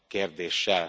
Kérdéssel.